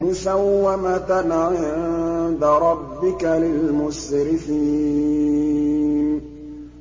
مُّسَوَّمَةً عِندَ رَبِّكَ لِلْمُسْرِفِينَ